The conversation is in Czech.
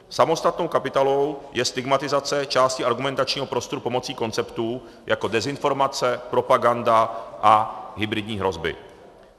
Samostatnou kapitolou je stigmatizace části argumentačního prostoru pomocí konceptů jako dezinformace, propaganda a hybridní hrozby.